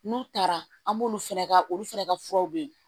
N'u taara an b'olu fɛnɛ ka olu fɛnɛ ka furaw bɛ yen